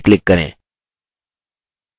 page पर कहीं भी click करें